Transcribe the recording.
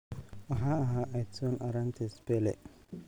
Waxaa ahaa Edson Arantes Pele.